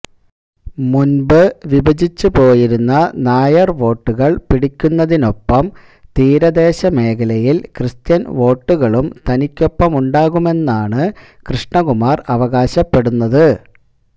മുന്പ് വിഭജിച്ചുപോയിരുന്ന നായര് വോട്ടുകള് പിടിക്കുന്നതിനൊപ്പം തീരദേശ മേഖലയില് ക്രിസ്ത്യന് വോട്ടുകളും തനിക്കൊപ്പമുണ്ടാകുമെന്നാണ് കൃഷ്ണകുമാര് അവകാശപ്പെടുന്നത്